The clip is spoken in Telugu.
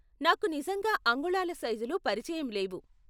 నాకు నిజంగా అంగుళాల సైజులు పరిచయం లేవు.